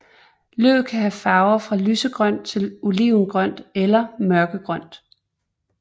Løvet kan have farver fra lysegrønt til olivengrønt eller mørkegrønt